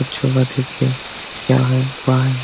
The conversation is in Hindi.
अच्छो बात है की क्या है वहा है।